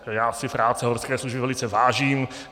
Já si práce Horské služby velice vážím.